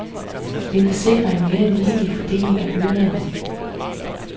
Det ville sikre en mere ligelig fordeling af byrderne.